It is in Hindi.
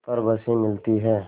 पर बसें मिलती हैं